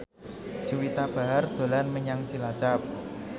Juwita Bahar dolan menyang Cilacap